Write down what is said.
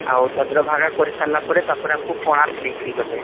ଆଉ ତାପରେ ଚନ୍ଦ୍ରଭାଗା କରି ସରିଲା ପରେ ତାପରେ ଆମକୁ କୋଣାର୍କ ନେଇକି ଗଲେ